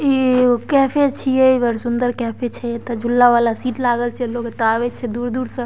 ई एगो कैफे छीये | बड़ सुंदर कैफे छै | एता झूला वाला शीट लागल छै | लोग एता आवे छै दूर-दूर से ।